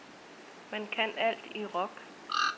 Man kan alt i rock.